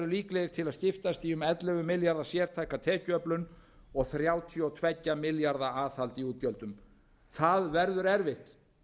líklegir til að skiptast í um ellefu milljarða sértækar tekjuöflun og þrjátíu og tvo milljarða aðhald í útgjöldum það verður erfitt